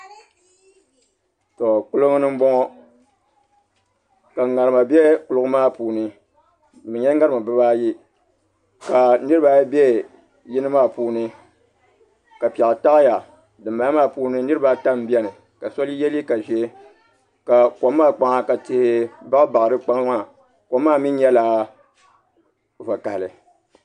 Kuligi ni n boŋo ka ŋarima bɛ kuligi maa puuni di nyɛla ŋarima bibaayi ka niraba ayi bɛ yini maa puuni ka piɛɣu taɣaya dinbala maa puuni niraba ata n biɛni ka so yɛliiga ʒiɛ ka kom maa kpaŋ ka tihi baɣa baɣa di kpaŋ maa kom maa mii nyɛla vakaɣali